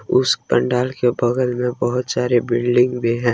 उस पंडाल के बगल में बहुत सारे बिल्डिंग भी है।